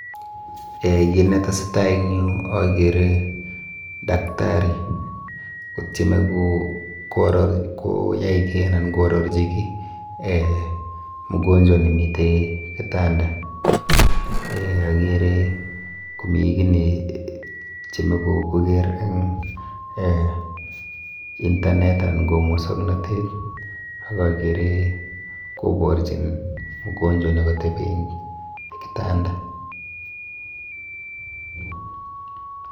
Eh kit netesetai eng yu akere daktari kotieme koyai ki anan koarorchi ki eh mgonjwa nemite kitanda. Eh akere komi ki netieme koker eng eh internet anan ko mosoknotet ak akere koborchin mgonjwa nekatepi eng kitanda